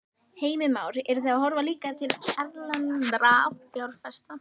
Heimir Már: Eruð þið að horfa líka til erlendra fjárfesta?